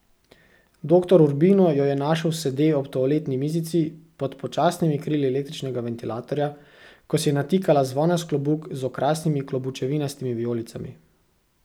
Doktor Urbino jo je našel sede ob toaletni mizici, pod počasnimi krili električnega ventilatorja, ko si je natikala zvonast klobuk z okrasnimi klobučevinastimi vijolicami.